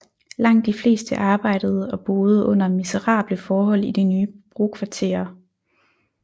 Langt de fleste arbejdede og boede under miserable forhold i de nye brokvarterer